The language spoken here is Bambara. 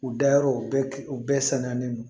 U dayɔrɔ bɛɛ u bɛɛ sannen don